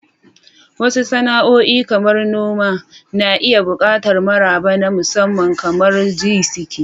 Wasu sana'o'i, kamar noma, na iya buƙatar maraba na musamman, kamar "Jisike."